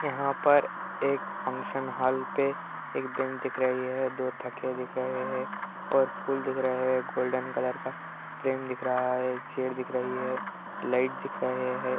यहाँ पर एक फंक्शन हॉल पे एक बेंच दिख रही है दो थके दिख रही है और फूल दिख रही है गोल्डेन कलर का क्रेन दिक् रहा हे एक चेयर दिक् रहा हे और लाइट दिक् रहा हे |